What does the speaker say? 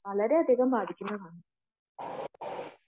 വളരെയധികം ബാധിക്കുന്നതാണ്